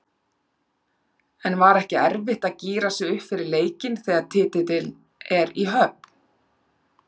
En var ekki erfitt að gíra sig upp fyrir leikinn þegar titillinn er í höfn?